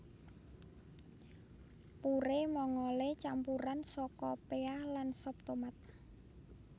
Purée Mongole campuran saka pea lan sop tomat